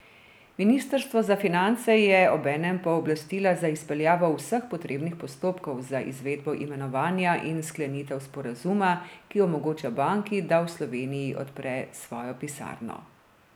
Ministrstvo za finance je obenem pooblastila za izpeljavo vseh potrebnih postopkov za izvedbo imenovanja in sklenitev sporazuma, ki omogoča banki, da v Sloveniji odpre svojo pisarno.